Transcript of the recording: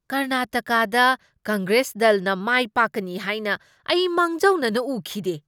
ꯀꯔꯅꯇꯀꯗ ꯀꯪꯒ꯭ꯔꯦꯁ ꯗꯜꯅ ꯃꯥꯏꯄꯥꯛꯀꯅꯤ ꯍꯥꯏꯅ ꯑꯩ ꯃꯥꯡꯖꯧꯅꯅ ꯎꯈꯤꯗꯦ ꯫